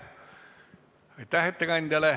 Küsimusi ei näi olevat.